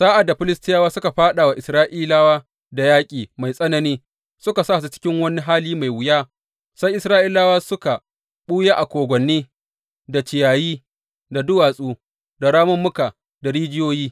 Sa’ad da Filistiyawa suka fāɗa wa Isra’ilawa da yaƙi mai tsanani, suka sa su cikin wani hali mai wuya, sai Isra’ilawa suka ɓuya a kogwanni, da ciyayi, da duwatsu, da ramummuka, da rijiyoyi.